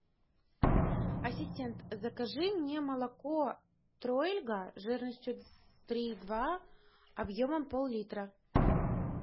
ассистент закажи мне молоко троельга жирностью три и два объемом поллитра